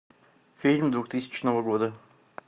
фильм двухтысячного года